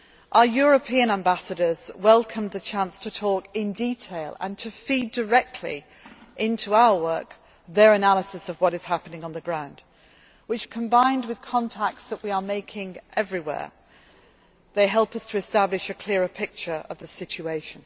tense. Our European ambassadors welcomed the chance to talk in detail and to feed directly into our work their analysis of what is happening on the ground which, combined with contacts that we are making everywhere, helps us to establish a clearer picture of